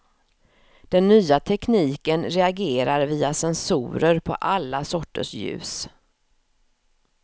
Den nya tekniken reagerar via sensorer på alla sorters ljus.